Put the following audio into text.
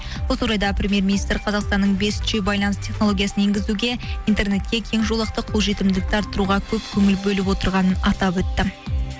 осы орайда премьер министр қазақстанның бес ж байланыс технологиясын енгізуге интернетке кең жолақты қолжетімділікті арртыруға көп көңіл бөліп отырғанын атап өтті